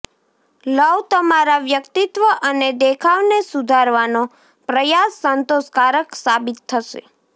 લવઃ તમારા વ્યક્તિત્વ અને દેખાવને સુધારવાનો પ્રયાસ સંતોષકારક સાબિત થશે